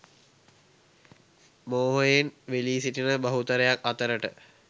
මෝහයෙන් වෙලී සිටින බහුතරයක් අතරට